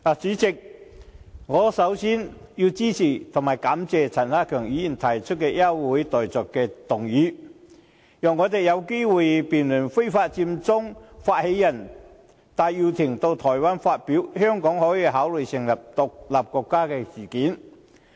主席，首先我支持並感謝陳克勤議員提出休會待續議案，讓我們有機會辯論非法佔中發起人戴耀廷到台灣發表"香港可以考慮成立獨立國家"事件。